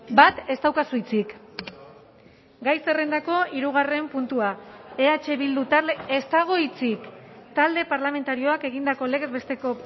bat ez daukazu hitzik gai zerrendako hirugarren puntua eh bildu talde ez dago hitzik talde parlamentarioak egindako legez besteko